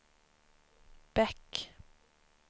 Bäck